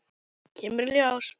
Kemur í ljós!